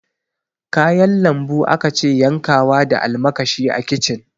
Kayan lambu akace yankawa da almakashi a kicin